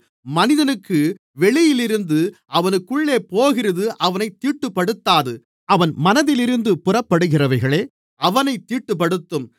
மனிதனுக்கு வெளியிலிருந்து அவனுக்குள்ளே போகிறது அவனைத் தீட்டுப்படுத்தாது அவன் மனதிலிருந்து புறப்படுகிறவைகளே அவனைத் தீட்டுப்படுத்தும்